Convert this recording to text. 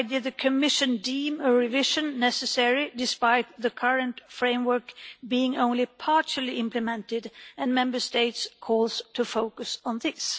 Why did the Commission deem a revision necessary, despite the current framework being only partially implemented and Member States' calls to focus on this?